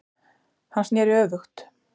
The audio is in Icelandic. Hann snéri öfugt